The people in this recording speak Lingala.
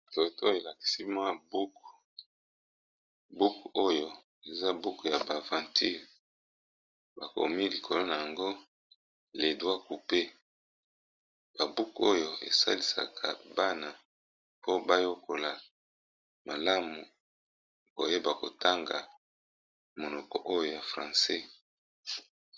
Photo elakisi ngai buku, oyo ezali bongo buku ya masapo pe esalisaka bana